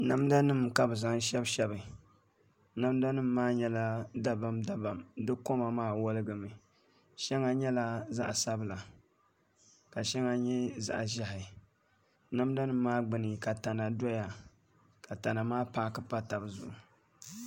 Namda nim ka bi zaŋ shɛbi shɛbi namda nim maa nyɛla dabam dabam di koma maa woligimi shɛŋa nyɛla zaɣ sabila ka shɛŋa nyɛ zaɣ ʒiɛhi namda nim maa gbuni ka tana doya ka tana maa paaki do tabi zuɣu